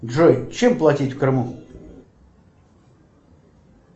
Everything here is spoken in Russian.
джой чем платить в крыму